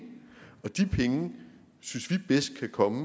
og de penge synes vi bedst kan komme